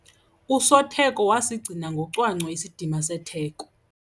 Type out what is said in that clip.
Usotheko wasigcina ngocwangco isidima setheko.